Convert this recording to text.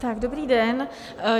Tak dobrý den.